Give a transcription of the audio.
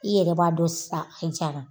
I yɛrɛ b'a dɔn sisan a jara.